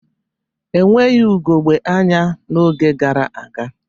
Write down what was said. Enweghị ugogbe anya n'oge gara aga